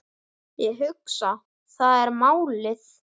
Ég hugsa, það er málið.